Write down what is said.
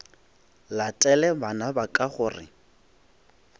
latele bana ba ka gore